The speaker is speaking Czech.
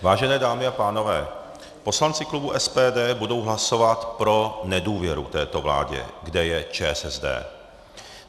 Vážené dámy a pánové, poslanci klubu SPD budou hlasovat pro nedůvěru této vládě, kde je ČSSD.